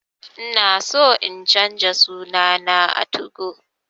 Ina so in canza suna na a 2go